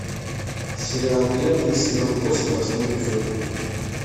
сериал древние сезон восемь восьмой эпизод